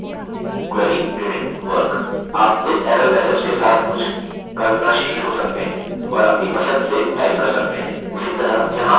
आप इस error message के साथ कुछ कल्पनाशील हो सकते हैं और अपनी पसंद से टाइप कर सकते हैं